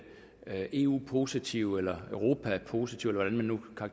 eu positive eller europa positive eller hvordan man nu